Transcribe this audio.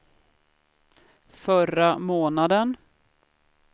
förra månaden